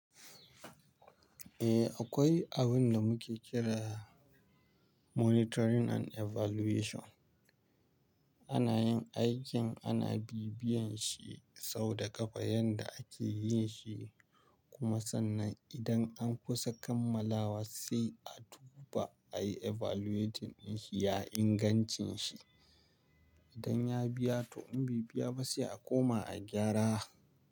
Eh akwai abin da muke kira monitoring and evaluation. Ana yin aikin ana bibiyan shi sau da ƙafa yadda ake yin shi, kuma sannan idan an kusa kammalawa sai a duba a yi evaluation in shi ya ingancin shi. Idan ya biya to in bai biya ba sai a koma a gyara.